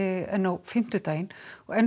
en á fimmtudaginn og enn